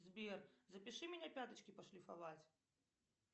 сбер запиши меня пяточки пошлифовать